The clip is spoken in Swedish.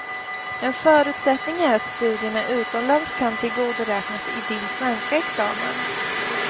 En förutsättning är att studierna utomlands kan tillgodoräknas i din svenska examen.